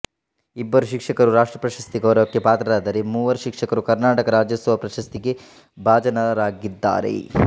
ಇಬ್ಬರು ಶಿಕ್ಷಕರು ರಾಷ್ಟ್ರಪ್ರಶಸ್ತಿ ಗೌರವಕ್ಕೆ ಪಾತ್ರರಾದರೆ ಮೂವರು ಶಿಕ್ಷಕರು ಕರ್ನಾಟಕ ರಾಜ್ಯೋತ್ಸವ ಪ್ರಶಸ್ತಿಗೆ ಭಾಜನರಾಗಿದ್ದಾರೆ